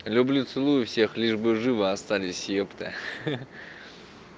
люблю целую всех лишь бы живы остались ёпта хи-хи